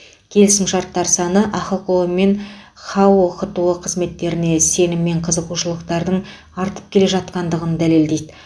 келісімшарттар саны ахқо мен хао хто қызметтеріне сенім мен қызығушылықтардың артып келе жатқандығын дәлелдейді